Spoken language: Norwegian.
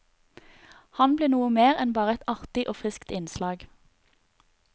Han ble noe mer enn bare et artig og friskt innslag.